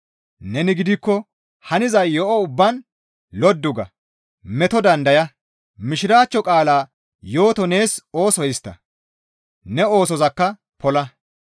Neni gidikko haniza yo7o ubbaan loddu ga; meto dandaya; mishiraachcho qaalaa yooto nees ooso histta; ne oosozakka pola.